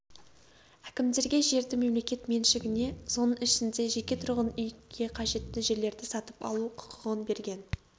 әкімдерге жерді мемлекет меншігіне соның ішінде жеке тұрғын үйге қажетті жерлерді сатып алу құқығын берген